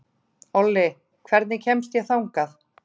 Olli, hvernig kemst ég þangað?